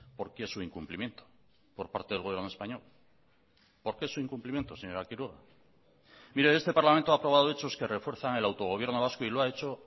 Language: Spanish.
por qué su incumplimiento por parte del gobierno español por qué su incumplimiento señora quiroga mire este parlamento ha aprobado hechos que refuerzan el autogobierno vasco y lo ha hecho